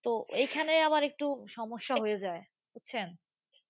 তো এইখানে আবার একটু সমস্যা হয়ে যায়। বুঝছেন